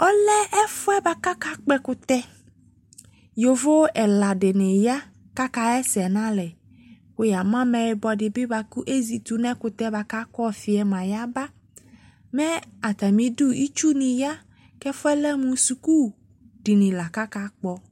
Ɔlɛ ɛfuɛ boako aka kpɔ ɛkutɛ Yovo ɛla de ne ya kaka yɛsɛ nalɛ, ko ya nu amayibɔ ko ezi to no ɛkutɛ boako akɔ ɔfiɛ moa yaba Mɛ atame du itsu ne ya ko ɛfuɛ lɛ mo suku dini la ko aka kpɔ